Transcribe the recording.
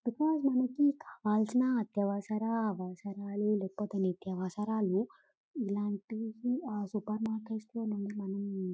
because మనకి కావలసిన అత్యవసర అవసరాలు లేకపోతే నిత్యవసర అవసరాలు ఇలాంటివి సూపర్ మార్కెట్ లోనే మనం--